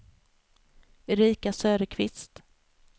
Erika Söderqvist